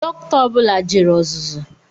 Doctor ọ bula jere ọzụzụ